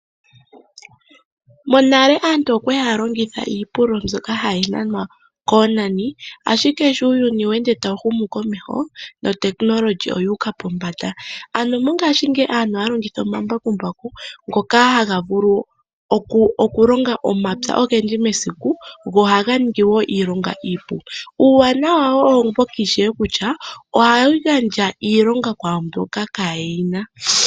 Monale aantu okwali haya longitha iipululo mbyoka hayi nanwa koonani, ashike sho uuyuni we ende tawu humu komeho, nuutekinolohi owuuka pombanda. Ano mongashingeyi aantu ohaya longitha omambakumbaku, ngoka haga vulu okulonga omapya ogendji mesiku, go ohaga ningi wo iilonga iipu. Uuwanawa owo mboka ishewe kutya: ohayi gandja iilonga kwaamboka kaye nasha.